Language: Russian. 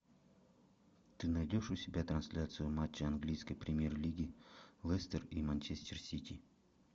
ты найдешь у себя трансляцию матча английской премьер лиги лестер и манчестер сити